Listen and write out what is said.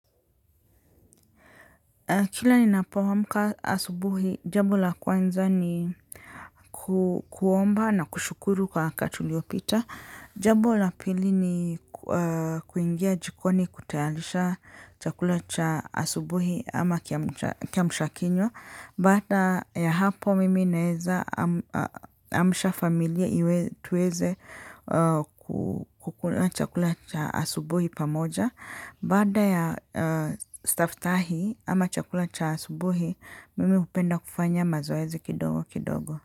Kila ninapoamka asubuhi, jambo la kwanza ni kuomba na kushukuru kwa wakati uliopita. Jambo la pili ni kuingia jikoni kutayarisha chakula cha asubuhi ama kiamsha kinywa. Baada ya hapo mimi naeza amsha familia tuweze kukula chakula cha asubuhi pamoja. Baada ya staftahi ama chakula cha asubuhi, mimi hupenda kufanya mazoezi kidogo kidogo.